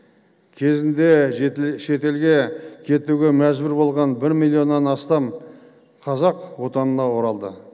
кезінде шетелге кетуге мәжбүр болған бір миллионнан астам қазақ отанына оралды